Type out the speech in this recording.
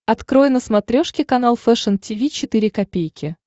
открой на смотрешке канал фэшн ти ви четыре ка